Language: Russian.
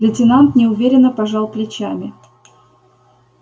лейтенант неуверенно пожал плечами